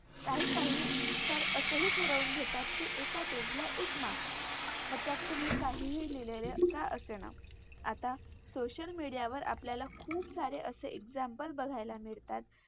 काही काही तर असेही ठरवून घेतात कि एका Page ला एक Marks मग त्यात तुम्ही काहीही लिहलेले का असेना. आता Scocial media आपल्याला खूप सारे असे Examples बघायला मिळतात.